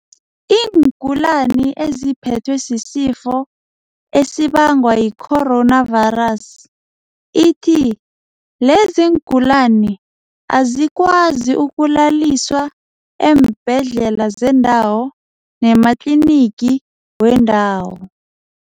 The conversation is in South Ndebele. iingulani eziphethwe sisifo esibangwa yicoronavirus ithi leziingulani azikwazi ukulaliswa eembhedlela zendawo nematlinigi wendawo.